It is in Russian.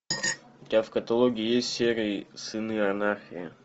у тебя в каталоге есть серии сыны анархии